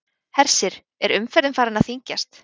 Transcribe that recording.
Hersir, er umferðin farin að þyngjast?